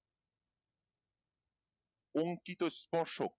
অংকিত স্পর্শক